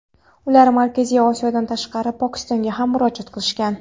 ular Markaziy Osiyodan tashqari Pokistonga ham murojaat qilishgan.